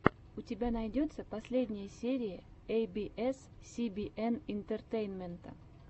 у тебя найдется последняя серия эй би эс си би эн интертеймента